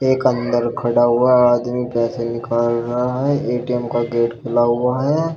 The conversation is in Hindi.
एक अंदर खड़ा हुआ आदमी पैसे निकाल रहा है। ए_टी_एम का गेट खुला हुआ है।